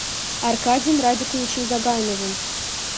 аркадием радиковичем загайновым